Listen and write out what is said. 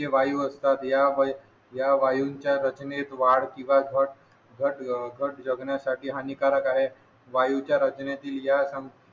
ते वायू असतात या मध्ये या वायूच्या रचनेत वाढ किंवा घट घट जगण्यासाठी हानिकारक आहे वायूच्या रचनातील या